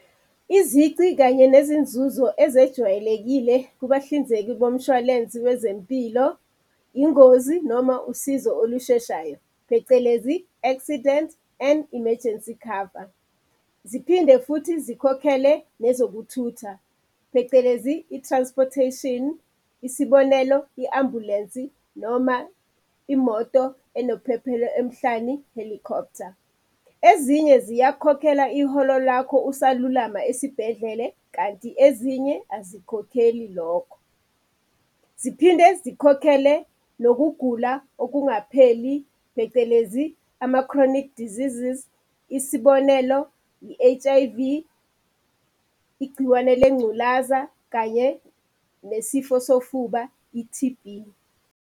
Izici kanye nezinzuzo ezejwayelekile kubahlinzeki bomshwalensi wezempilo, ingozi noma usizo olusheshayo, phecelezi accident and emergency cover. Ziphinde futhi zikhokhele nezokuthutha phecelezi, i-transportation. Isibonelo, i-ambhulensi noma imoto enophephelo emhlani, helicopter. Ezinye ziyakukhokhela iholo lakho usalulama esibhedlele, kanti ezinye azikukhokheli lokho. Ziphinde zikhokhele nokugula okungapheli, phecelezi ama-chronic diseases. Isibonelo, i-H_I_V igciwane lengculaza kanye nesifo sofuba, i-T_B.